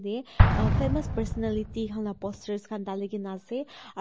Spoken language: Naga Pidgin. te ah famous personality han la poster khan dalikae na ase aru--